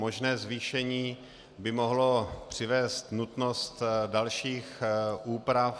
Možné zvýšení by mohlo přivést nutnost dalších úprav.